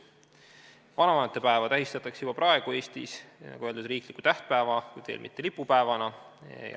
Vanavanemate päeva tähistatakse juba praegu Eestis, nagu öeldud, riikliku tähtpäevana, kuid veel mitte lipupäevana.